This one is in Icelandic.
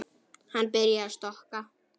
Hann byrjaði að stokka.